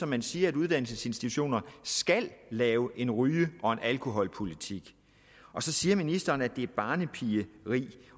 man siger at uddannelsesinstitutioner skal lave en ryge og en alkoholpolitik så siger ministeren at det er barnepigeri